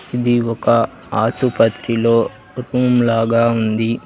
ఇది ఒక ఆసుపత్రిలో రూమ్ లాగా ఉంది.